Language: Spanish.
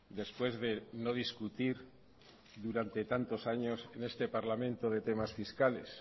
después de no discutir durante tantos años en este parlamento de temas fiscales